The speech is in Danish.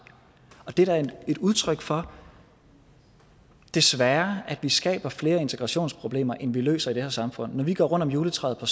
det er et udtryk for desværre at vi skaber flere integrationsproblemer end vi løser i det her samfund når vi går rundt om juletræet på